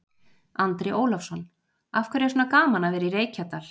Andri Ólafsson: Af hverju er svona gaman að vera í Reykjadal?